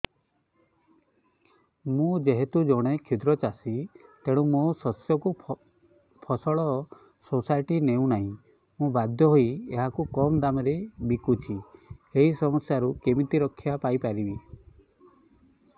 ମୁଁ ଯେହେତୁ ଜଣେ କ୍ଷୁଦ୍ର ଚାଷୀ ତେଣୁ ମୋ ଶସ୍ୟକୁ ଫସଲ ସୋସାଇଟି ନେଉ ନାହିଁ ମୁ ବାଧ୍ୟ ହୋଇ ଏହାକୁ କମ୍ ଦାମ୍ ରେ ବିକୁଛି ଏହି ସମସ୍ୟାରୁ କେମିତି ରକ୍ଷାପାଇ ପାରିବି